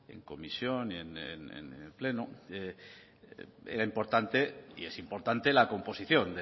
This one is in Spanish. en comisión y en el pleno era importante y es importante la composición